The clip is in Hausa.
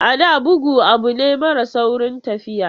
A da, bugu abu ne mara saurin tafiya.